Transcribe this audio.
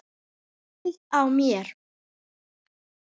Höfuðið á mér